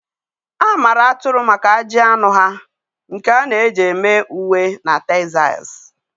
A maara atụrụ maka ajị anụ ha, nke a na-eji eme uwe na textiles